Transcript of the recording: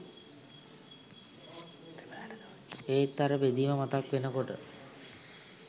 ඒත් අර බෙදීම මතක් වෙනකොට